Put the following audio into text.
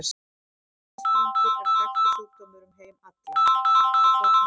Miltisbrandur er þekktur sjúkdómur um heim allan frá fornu fari.